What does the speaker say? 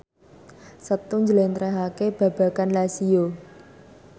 Setu njlentrehake babagan Lazio